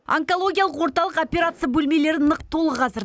онкологиялық орталық операция бөлмелері нық толы қазір